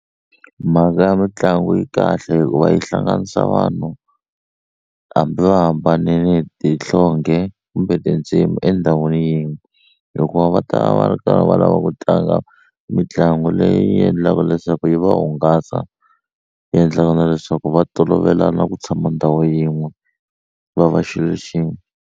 Mhaka ya mitlangu yi kahle hikuva yi hlanganisa vanhu hambi va hambanile hi nhlonge kumbe tindzimi endhawini yin'we hikuva va ta va va karhi va lava ku tlanga mitlangu leyi endlaka leswaku yi va hungasa yi endlaka na leswaku va tolovela na ku tshama ndhawu yin'we va va xilo xin'we.